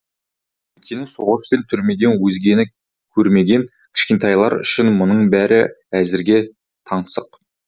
өйткені соғыс пен түрмеден өзгені көрмеген кішкентайлар үшін мұның бәрі әзірге таңсық